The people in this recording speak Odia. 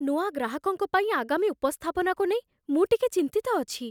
ନୂଆ ଗ୍ରାହକଙ୍କ ପାଇଁ ଆଗାମୀ ଉପସ୍ଥାପନାକୁ ନେଇ ମୁଁ ଟିକେ ଚିନ୍ତିତ ଅଛି।